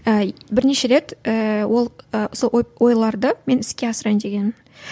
і бірнеше рет ііі ол сол ой ойларды мен іске асырайын дегенмін